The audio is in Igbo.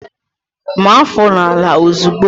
Maa áfọ̀ n'ala ozigbo!